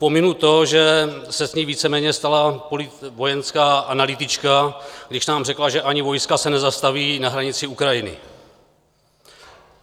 Pominu to, že se z ní víceméně stala vojenská analytička, když nám řekla, že ani vojska se nezastaví na hranici Ukrajiny.